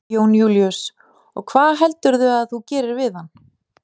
Jón Júlíus: Og hvað heldurðu að þú gerir við hann?